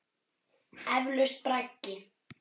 Eflaust braggi.